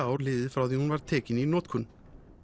ár liðið frá því hún var tekin í notkun